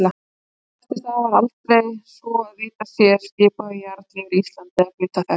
Eftir það var aldrei, svo að vitað sé, skipaður jarl yfir Íslandi eða hluta þess.